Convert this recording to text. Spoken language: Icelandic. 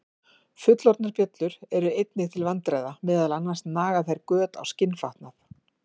Fullorðnar bjöllur eru einnig til vandræða, meðal annars naga þær göt á skinnfatnað.